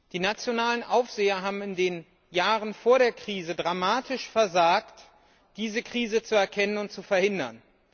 Die nationalen Aufseher haben in den Jahren vor der Krise dramatisch versagt, diese Krise zu erkennen und zu verhindern.